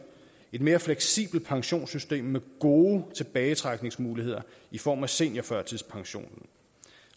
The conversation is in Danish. et mere fleksibelt pensionssystem med gode tilbagetrækningsmuligheder i form af seniorførtidspension